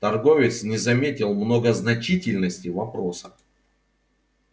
торговец не заметил многозначительности вопроса